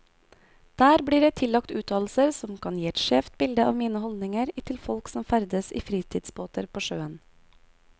Der blir jeg tillagt uttalelser som kan gi et skjevt bilde av mine holdninger til folk som ferdes i fritidsbåter på sjøen.